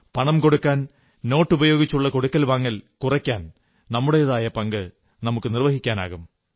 പണം കൊടുക്കൽ നോട്ടുപയോഗിച്ചുള്ള കൊടുക്കൽ വാങ്ങൽ കുറയ്ക്കാൻ നമ്മുടേതായ പങ്കു വഹിക്കൂ